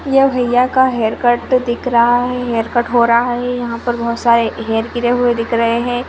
यह भैया का हेअरकट तो दिख रहा है हेअरकट हो रहा है यहाँ पर बहुत सारे हेयर गिरे हुए दिख रहे है।